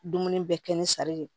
Dumuni bɛɛ kɛ ni sari de ye